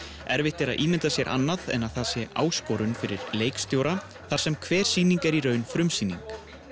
erfitt er að ímynda sér annað en að það sé áskorun fyrir leikstjóra þar sem hver sýning er í raun frumsýning